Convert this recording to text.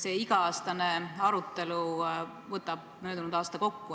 See iga-aastane arutelu võtab möödunud aasta kokku.